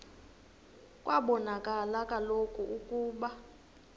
kwabonakala kaloku ukuba